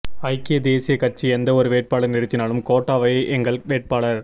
ஐக்கிய தேசிய கட்சி எந்தவொரு வேட்பாளரை நிறுத்தினாலும் கோட்டா வே எங்கள் வேட்பாளர்